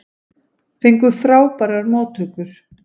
Fengu frábærar móttökur